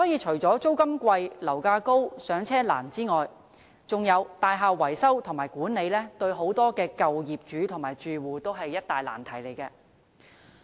除了租金貴、樓價高和"上車難"外，大廈維修和管理對於很多舊樓業主和住戶也是一大難題。